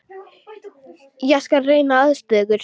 Ég skal reyna að aðstoða ykkur.